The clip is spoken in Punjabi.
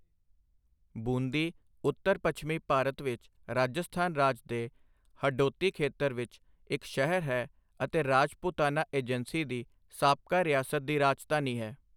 ਬੂੰਦੀ ਉੱਤਰ ਪੱਛਮੀ ਭਾਰਤ ਵਿੱਚ ਰਾਜਸਥਾਨ ਰਾਜ ਦੇ ਹਡੋਤੀ ਖੇਤਰ ਵਿੱਚ ਇੱਕ ਸ਼ਹਿਰ ਹੈ ਅਤੇ ਰਾਜਪੂਤਾਨਾ ਏਜੰਸੀ ਦੀ ਸਾਬਕਾ ਰਿਆਸਤ ਦੀ ਰਾਜਧਾਨੀ ਹੈ।